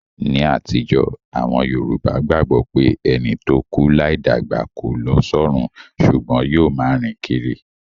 Ní àtijó, àwon Yorùbá gbagbo pé ẹni to kú láì dàgbà ko lo sọrun sùgbón yio ma rìn kírí